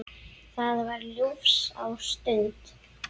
Það var ljúfsár stund.